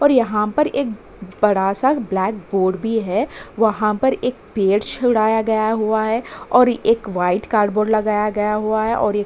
और यहाँ पर एक बड़ा सा एक ब्लैक बोर्ड भी है वहाँ पर एक पेड़ छुड़ाया गया हुआ है और एक वाइट कार्ड बोर्ड लगाया गया हुआ है और --